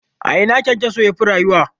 A ina KyanKyaso yafi rayuwa?